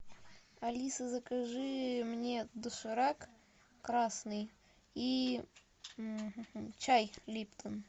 алиса закажи мне доширак красный и чай липтон